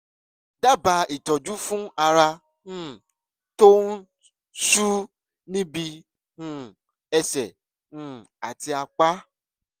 dábàá ìtọ́jú fún ara um tó ń ṣú níbi um ẹsẹ um àti apá